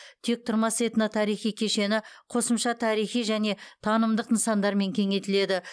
тектұрмас этно тарихи кешені қосымша тарихи және танымдық нысандармен кеңейтіледі